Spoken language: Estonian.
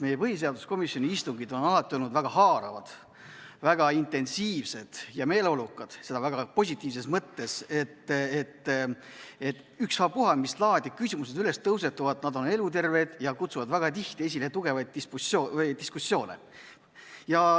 Põhiseaduskomisjoni istungid on alati olnud väga haaravad, väga intensiivsed ja meeleolukad, seda väga positiivses mõttes, ükstapuha mis laadi küsimused tõusetuvad, nad on eluterved ja kutsuvad väga tihti esile tugevaid diskussioone.